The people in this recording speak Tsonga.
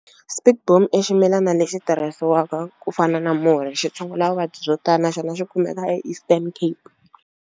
Spekboom i ximilana lexi tirhisiwaka ku fana na murhi xi tshungula vuvabyi byo tala na xona xi kumeka eEastern Cape.